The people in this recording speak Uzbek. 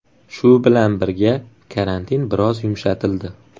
Shu bilan birga, karantin biroz yumshatildi.